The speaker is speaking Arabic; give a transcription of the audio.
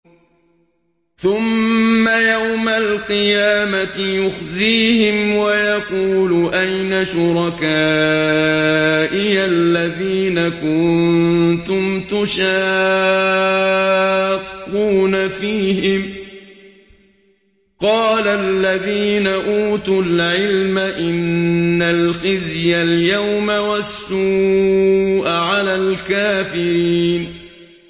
ثُمَّ يَوْمَ الْقِيَامَةِ يُخْزِيهِمْ وَيَقُولُ أَيْنَ شُرَكَائِيَ الَّذِينَ كُنتُمْ تُشَاقُّونَ فِيهِمْ ۚ قَالَ الَّذِينَ أُوتُوا الْعِلْمَ إِنَّ الْخِزْيَ الْيَوْمَ وَالسُّوءَ عَلَى الْكَافِرِينَ